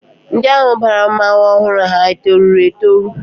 Ndị ahụ bara mmọnwụ ọhụrụ ha etoruru etoru?